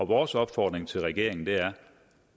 vores opfordring til regeringen er